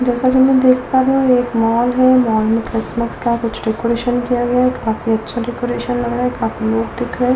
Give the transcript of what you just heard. जैसा की मे देख पा रही हूं ये एक मॉल है मॉल मे क्रिसमस का कुछ डेकोरेशन किया गया है काफी अच्छा डेकोरेशन किया गया है काफी लोग दिख रहे है ।